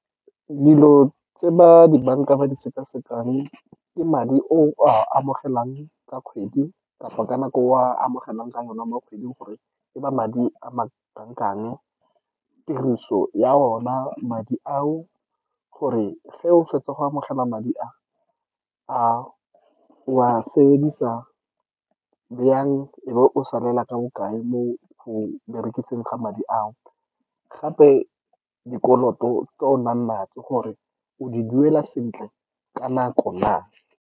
Dilo tse ba di-banka ba di sekasekang ke madi o a amogelang ka kgwedi, kapa ka nako o a amogelang ka one mo kgweding, gore ba madi a ma kana kang. Tiriso ya ona madi ao, gore ge o fetsa go amogela madi a , o a sebedisa bjang, e be o salela ka bokae mo go berekisang ga madi ao. Gape, dikoloto tse o nang le tsone, gore o di dira sentle ka nako na.